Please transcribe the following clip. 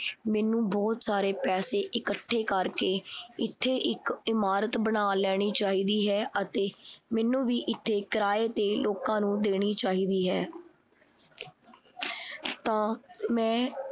ਮੈਨੂੰ ਬਹੁਤ ਸਾਰੇ ਪੈਸੇ ਇਕੱਠੇ ਕਰਕੇ ਇਥੇ ਇਕ ਇਮਾਰਤ ਬਣਾ ਲੈਣੀ ਚਾਹੀਦੀ ਹੈ ਅਤੇ ਮੈਨੂੰ ਵੀ ਇਥੇ ਕਿਰਾਏ ਤੇ ਲੋਕਾਂ ਨੂੰ ਦੇਣੀ ਚਾਹੀਦੀ ਹੈ ਤਾਂ ਮੈਂ